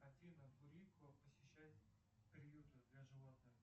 афина посещать приюты для животных